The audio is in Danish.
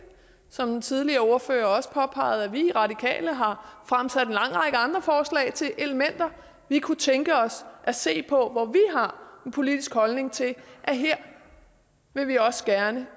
som den tidligere ordfører også påpegede at vi i radikale har fremsat en lang række andre forslag til elementer vi kunne tænke os at se på hvor vi har en politisk holdning til at her vil vi også gerne